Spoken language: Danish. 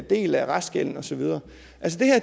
del af restgælden og så videre